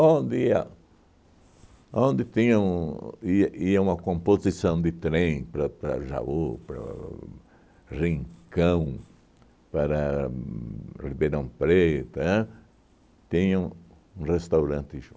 ia onde tinha um ia ia uma composição de trem para para Jaú, para Rincão, para Ribeirão Preto, ãh? Tinha um um restaurante